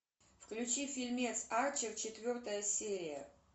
включи фильмец арчер четвертая серия